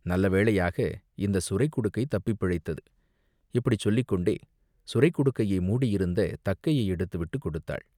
நல்ல வேளையாக இந்தச் சுரைக் குடுக்கை தப்பிப் பிழைத்தது." இப்படிச் சொல்லிக் கொண்டே சுரைக் குடுக்கையை மூடியிருந்த தக்கையை எடுத்து விட்டுக் கொடுத்தாள்.